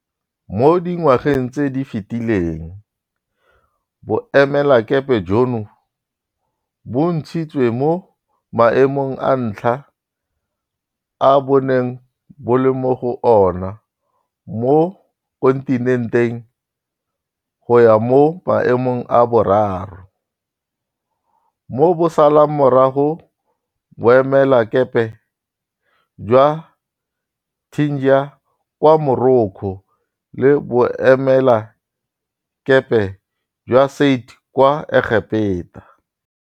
Mo dingwageng tse di fetileng, boemelakepe jono bo ntshitswe mo maemong a ntlha a bo neng bo le mo go ona mo kontinenteng go ya mo maemong a boraro, mo bo salang morago boemelakepe jwa Tangier kwa Morocco le boemelakepe jwa Said kwa Egepeta.